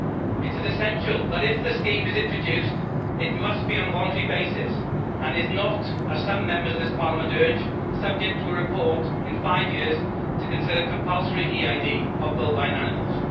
It is essential that, if the scheme is introduced, it must be on a voluntary basis and is not, as some Members of this Parliament urge, subject to a report in five years to consider compulsory EID of bovine animals.